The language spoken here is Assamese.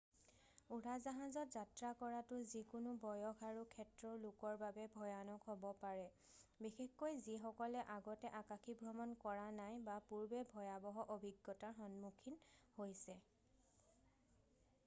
উৰাজাহাজত যাত্ৰা কৰাটো যিকোনো বয়স আৰু ক্ষেত্ৰৰ লোকৰ বাবে ভয়ানক হ'ব পাৰে বিশেষকৈ যিসকলে আগতে আকাশীভ্ৰমণ কৰা নাই বা পূৰ্বে ভয়াবহ অভিজ্ঞতাৰ সন্মুখীন হৈছে